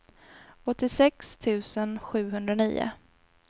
åttiosex tusen sjuhundranio